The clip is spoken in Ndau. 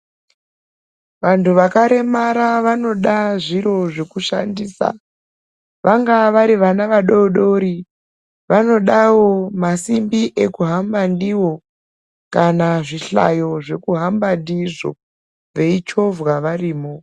Vantu vakaremara vanoda zviro zvekushandisa vangadai vari vana vadodori vanodawo masimbi ekuhambisa kuhamba ndiyo kana zvihlayo zvekuhambwa ndizvo vechivhovhwa varimo.